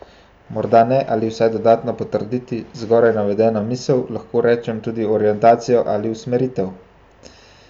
Morda ne ali vsaj dodatno potrditi zgoraj navedeno misel, lahko rečem tudi orientacijo ali usmeritev?